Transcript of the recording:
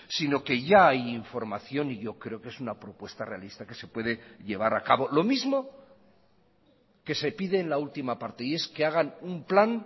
sino que ya hay información y yo creo que es una propuesta realista que se puede llevar a cabo lo mismo que se pide en la última parte y es que hagan un plan